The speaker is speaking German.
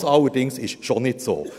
Das allerdings ist schon nicht so.